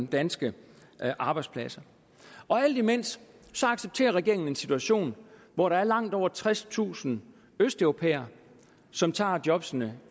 danske arbejdspladser alt imens accepterer regeringen en situation hvor der er langt over tredstusind østeuropæere som tager jobbene